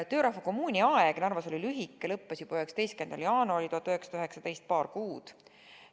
Töörahva kommuuni aeg Narvas oli lühike, see lõppes juba 19. jaanuaril 1919, st kestis vaid paar kuud.